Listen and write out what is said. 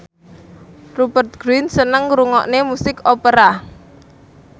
Rupert Grin seneng ngrungokne musik opera